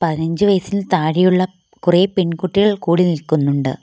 പതിനഞ്ച് വയസ്സിന് താഴെയുള്ള കുറെ പെൺകുട്ടികൾ കൂടി നിൽക്കുന്നുണ്ട്.